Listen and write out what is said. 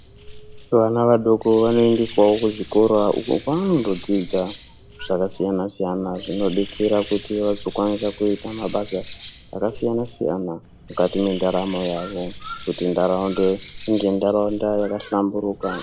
Vana vadoko vanoendeswawo kuzvikora uko kwaanondodzidza zvakasiyana siyana zvinodetsera kuti vazokwanisa kuita mabasa akasiyana siyana mukati mwendaramo yavo kuti ndaraunde inge ndaraunda yakahlamburuka .